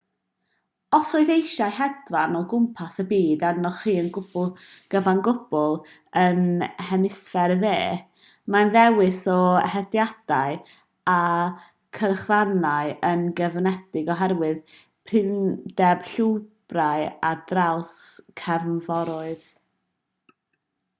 os oes eisiau hedfan o gwmpas y byd arnoch chi yn gyfan gwbl yn hemisffer y de mae'r dewis o hediadau a chyrchfannau yn gyfyngedig oherwydd prinder llwybrau ar draws cefnforoedd